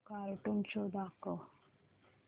cartoon show दाखव